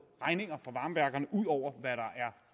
regninger fra varmeværkerne ud over hvad der er